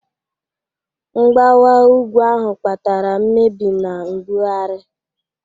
Mgbawa ugwu ahụ kpatara mmebi na mbugharị.